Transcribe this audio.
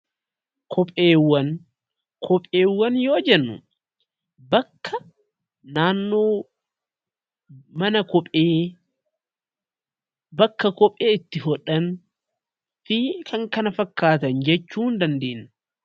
Kopheewwan yoo jennu bakka naannoo mana kophee, bakka kophee itti hodhan fi kan kana fakkaatan jechuu ni dandeenya.